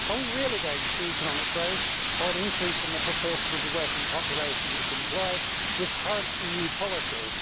Are we really going to see economic growth, or an increase in the proportion of the working population that is employed, with current EU policies?